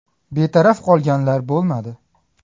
Betaraf qolganlar bo‘lmadi.